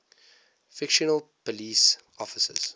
fictional police officers